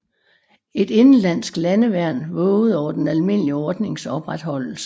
Et indenlandsk landeværn vågede over den almindelige ordnings opretholdelse